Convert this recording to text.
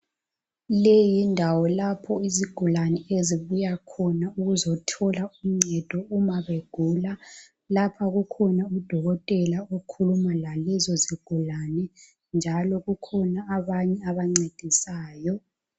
Le yindawo lapho izigulane ezibuya khona ukuzothola uncedo uma begula. Lapha kukhona udokotela okhuluma lalezi zigulane njalo kukhona abanye abancedisayo.